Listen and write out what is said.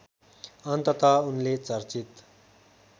अन्तत उनले चर्चित